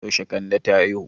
Yaushe kande ta haihu?